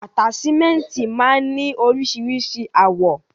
Ataṣimẹnti máa n ni oríṣiríṣi àwọ̀.